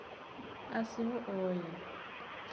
a si ho o ya